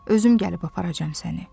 Özüm gəlib aparacam səni.